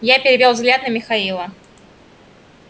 я перевёл взгляд на михаила